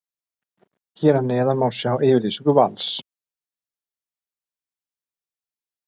Hér að neðan má sjá yfirlýsingu Vals.